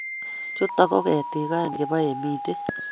Chuto ko ketik aeng' che bo emitik.